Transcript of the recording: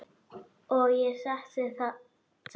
Og ég setti lítið